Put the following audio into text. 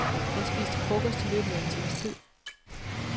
Han spiste frokost i løbet af en times tid.